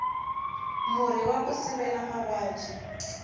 murhi waku sivela mavabyi